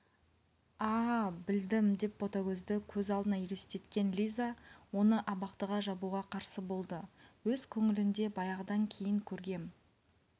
а-а-а білдім деп ботагөзді көз алдына елестеткен лиза оны абақтыға жабуға қарсы болды өз көңілінде баяғыдан кейін көргем